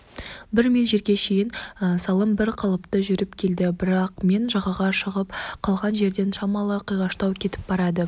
бір миль жерге шейін салым бір қалыпты жүріп келді бірақ мен жағаға шығып қалған жерден шамалы қиғаштау кетіп барады